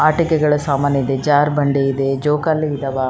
ಈ ಭೂಮಿಯ ಮೆಲೆ ಹುಲ್ಲುಕುಡ ಇದೆ ಇಲ್ಲಿ ಕಸ ಕಡ್ಡಿ ಬಿದ್ದಿದೆ.